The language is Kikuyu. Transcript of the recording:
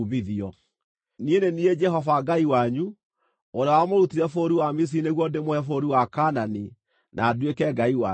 Niĩ nĩ niĩ Jehova Ngai wanyu, ũrĩa wamũrutire bũrũri wa Misiri nĩguo ndĩmũhe bũrũri wa Kaanani na nduĩke Ngai wanyu.